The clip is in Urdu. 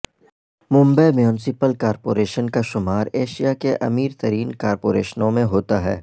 ممبئی میونسپل کارپوریشن کا شمار ایشیاء کے امیر ترین کارپوریشنون میں ہوتا ہے